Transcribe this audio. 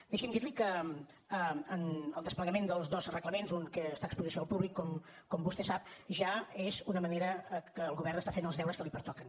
deixi’m dir li que el desplegament dels dos reglaments un que està a exposició al públic com vostè sap ja és una manera que el govern està fent els deures que li pertoquen